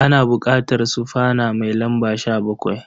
Ana buƙatar sufana mai lamba 17.